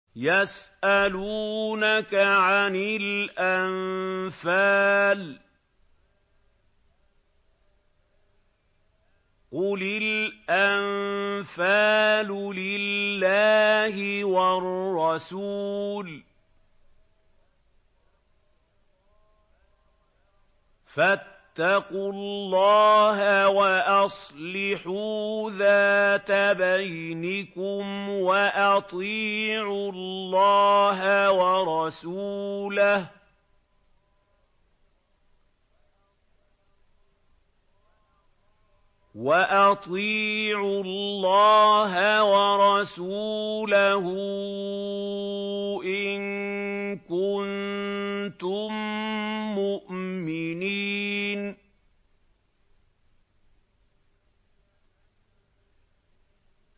يَسْأَلُونَكَ عَنِ الْأَنفَالِ ۖ قُلِ الْأَنفَالُ لِلَّهِ وَالرَّسُولِ ۖ فَاتَّقُوا اللَّهَ وَأَصْلِحُوا ذَاتَ بَيْنِكُمْ ۖ وَأَطِيعُوا اللَّهَ وَرَسُولَهُ إِن كُنتُم مُّؤْمِنِينَ